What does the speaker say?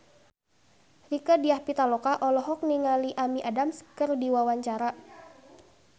Rieke Diah Pitaloka olohok ningali Amy Adams keur diwawancara